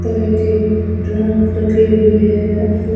तरह के ड्रम रखे हुए है।